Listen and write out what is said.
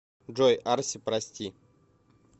джой арси прости